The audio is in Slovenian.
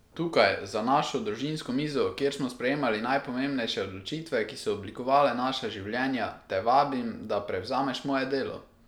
Tukaj, za našo družinsko mizo, kjer smo sprejemali najpomembnejše odločitve, ki so oblikovale naša življenja, te vabim, da prevzameš moje delo!